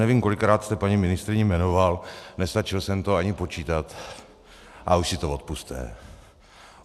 Nevím, kolikrát jste paní ministryni jmenoval, nestačil jsem to ani počítat, ale už si to odpusťte.